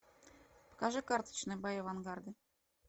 покажи карточные бои авангарда